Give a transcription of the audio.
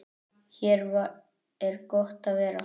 Hér er gott að vera.